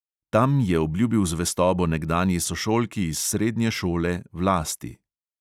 Tam je obljubil zvestobo nekdanji sošolki iz srednje šole vlasti.